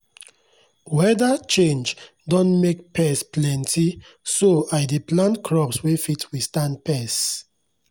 weather change don make pest plentyso i dey plant crops wey fit withstand pests.